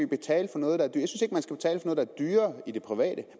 betale for noget der er dyrere i det private